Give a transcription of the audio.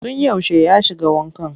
Tun yaushe ya shiga wankan?